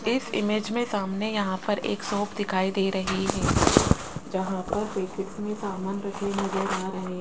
इस इमेज में सामने यहां पर एक शॉप दिखाई दे रही है जहां पर पैकेट्स रखे हुए नजर आ रहे --